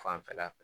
Fanfɛla fɛ